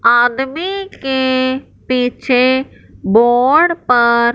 आदमी के पीछे बोर्ड पर--